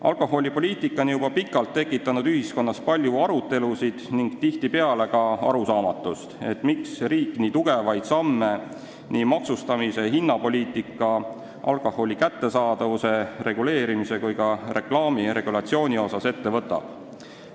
Alkoholipoliitika on juba pikalt tekitanud ühiskonnas palju arutelusid ning tihtipeale ka arusaamatust, miks võtab riik ette nii tugevaid samme maksustamisel, hinnapoliitikas, alkoholi kättesaadavuse reguleerimisel ja ka reklaamiregulatsiooni kehtestamisel.